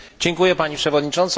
Pani Przewodnicząca!